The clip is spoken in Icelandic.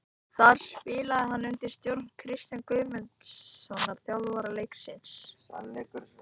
Þar spilaði hann undir stjórn Kristjáns Guðmundssonar, þjálfara Leiknis.